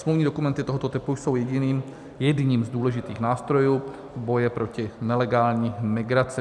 Smluvní dokumenty tohoto typu jsou jedním z důležitých nástrojů boje proti nelegální migraci.